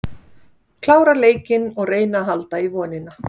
Klára leikinn og reyna að halda í vonina.